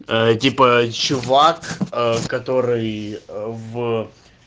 ээ типа чувак ээ который ээ в